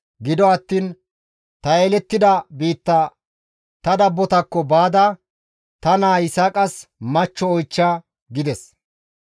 gido attiin ta yelettida biitta ta dabbotakko baada, ta naa Yisaaqas machcho oychcha» gides.